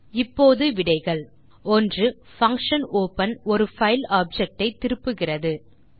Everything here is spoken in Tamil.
ஆகவே இப்போது நாம் அதன் விடைகளை காணலாம் 1பங்ஷன் openஒரு பைல் ஆப்ஜெக்ட் ஐ திருப்புகிறது